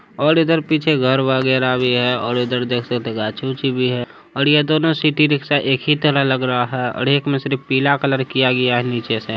और इधर पीछे घर वगेरा भी हैऔर इधर देख सकते गाछ-उछ भी है और यहदोनों सिटी रिक्शा एक ही तरह लग रहा है और एक में सिर्फ पीला कलर किया गया है नीचे से।